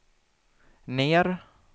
ner